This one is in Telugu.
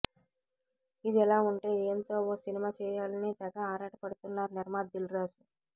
ఇదిలా ఉంటె ఈయనతో ఓ సినిమా చేయాలనీ తెగ ఆరాటపడుతున్నారు నిర్మాత దిల్ రాజు